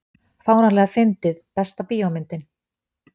fáránlega fyndið Besta bíómyndin?